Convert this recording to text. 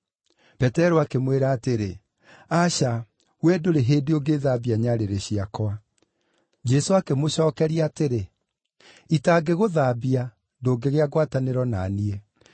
Petero akĩmwĩra atĩrĩ, “Aca, wee ndũrĩ hĩndĩ ũngĩthambia nyarĩrĩ ciakwa.” Jesũ akĩmũcookeria atĩrĩ, “Itangĩgũthambia, ndũngĩgĩa ngwatanĩro na niĩ.”